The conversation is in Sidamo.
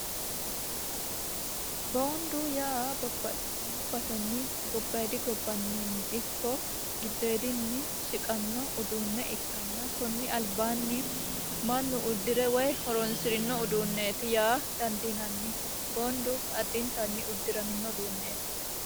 Boonidu yaa babbaxitino basenni gobaayidi gobbaniino ikko gidoodinni shiqanno uduune ikkana konni alibaanni mannu uddirinno woy horonisirino uduuneti yaa danidiinanni boonidu addinitanni uddiramdiramino uduuneeti.